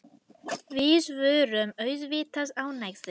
Við vorum auðvitað ánægðir.